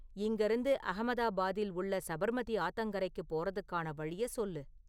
இங்கருந்து அகமதாபாத்தில் உள்ள சபர்மதி ஆத்தங்கரைக்கு போறதுக்கான வழியை சொல்லு